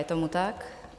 Je tomu tak?